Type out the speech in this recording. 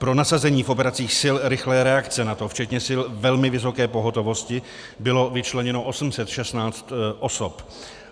Pro nasazení v operacích sil rychlé reakce NATO včetně sil velmi vysoké pohotovosti bylo vyčleněno 816 osob.